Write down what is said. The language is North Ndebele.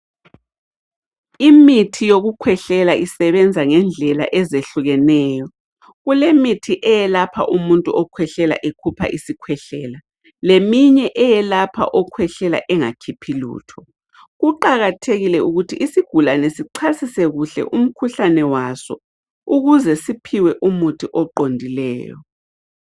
Imithi yokukhwehlela isebenza ngendlela ezehlukeneyo. Kulemithi eyelapha umuntu okhwehlela ekhupha isikhwehlela leminye eyelapha okhwehlela engakhiphi lutho. Kuqakathekile ukuthi isigulane sichasise kuhle umkhuhlane waso ukuze siphiwe umuthi oqondileyo.